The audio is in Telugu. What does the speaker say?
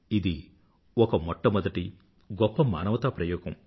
ఇది ఒక మొట్టమొదటి గొప్ప మానవతా ప్రయోగం